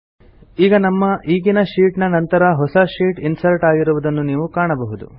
ಈಗ ನಮ್ಮ ಈಗಿನ ಶೀಟ್ ನ ನಂತರ ಹೊಸ ಶೀಟ್ ಇನ್ಸರ್ಟ್ ಆಗಿರುವುದನ್ನು ನೀವು ಕಾಣಬಹುದು